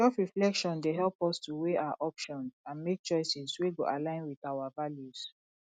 selfreflection dey help us to weigh our options and make choices wey go align with our values